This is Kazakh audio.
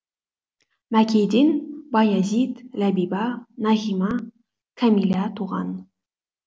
мәкейден баязит ләбиба нағима кәмилә туған